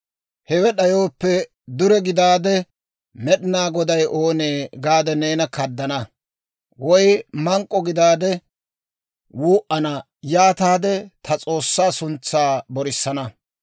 Hewe d'ayooppe, dure gidaade, «Med'inaa Goday oonee?» gaade neena kaddana; woy mank'k'o gidaade, wuu"ana; yaataade ta S'oossaa suntsaa borisana.